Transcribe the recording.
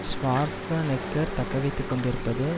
Schwarzenegger தக்கவைத்து கொண்டிருப்பது